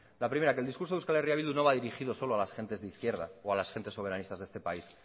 la primera que el discurso de euskal herria bildu no va dirigido solo a las gentes de izquierda o a las gentes soberanistas de este país